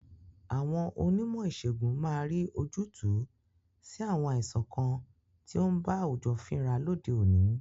Àwọn Onímò ìsègùn máa rí ojútùú sí àwọn àìsàn kan tí ó ń ba àwùjọ fínra lóde òní.